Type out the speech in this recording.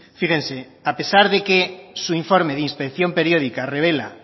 fíjense a pesar de que su informe de inspección periódica revela